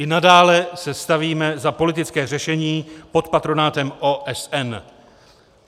I nadále se stavíme za politické řešení pod patronátem OSN.